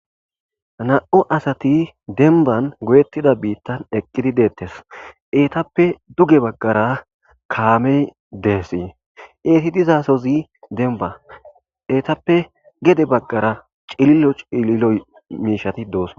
Na.o asati denban goyettida biittan eqqidi deettes eetappe duge baggara kaamey deesi eeti dizasozi denba eetappe gede baggara cililo cililoy miishati doos.